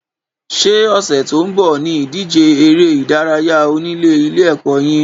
Sé ọ̀sẹ̀ tó ń bọ̀ ní ìdíje eré ìdárayá onílé ilé ẹ̀kọ́ yín?